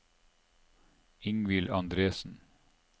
Ingvill Andresen